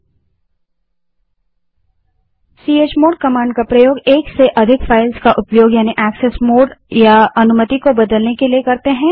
chmod command का प्रयोग एक से अधिक फ़ाइलों का उपयोग यानि एक्सेस मोड या अनुमति को बदलने के लिए करते हैं